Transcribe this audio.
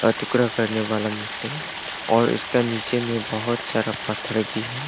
टुकड़ा करने वाला मशीन और उसके नीचे में बहुत सारा पत्थर भी है।